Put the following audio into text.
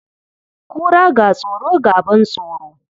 Kura, ga tsoro, ga ban tsoro.